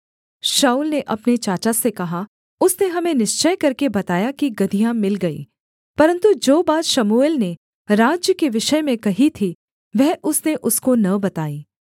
शाऊल ने अपने चाचा से कहा उसने हमें निश्चय करके बताया कि गदहियाँ मिल गईं परन्तु जो बात शमूएल ने राज्य के विषय में कही थी वह उसने उसको न बताई